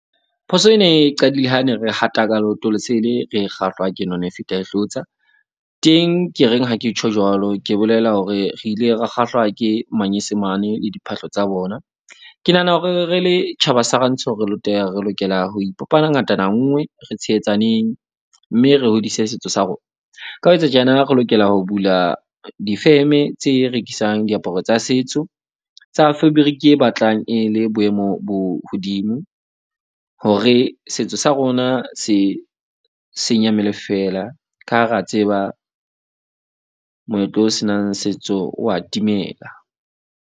Phoso ena e qadile ha ne re hata ka leoto lesele, re kgahlwa ke none e feta e hlotsa. Teng ke reng ha ke tjho jwalo, ke bolela hore re ile ra kgahlwa ke manyesemane le diphahlo tsa bona. Ke nahana hore re le tjhaba sa rantsho. Re lokela ho ipopa ngatana nngwe re tshehetsaneng. Mme re hodise setso sa rona. Ka ho etsa tjena re lokela ho bula di-firm-e tse rekisang diaparo tsa setso tsa fabric e batlang e le boemo bo hodimo. Hore setso sa rona se senya mmele feela ka ha re a tseba moetlo o senang setso wa timela.